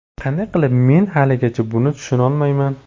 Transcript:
Qanday qilib, men haligacha buni tushunolmayman.